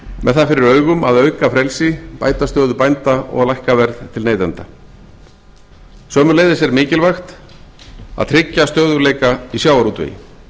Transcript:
með það fyrir augum að auka frelsi bæta stöðu bænda og að lækka verð til neytenda sömuleiðis er mikilvæg að tryggja stöðugleika í sjávarútvegi